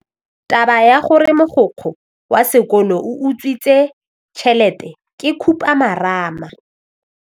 Taba ya gore mogokgo wa sekolo o utswitse tšhelete ke khupamarama.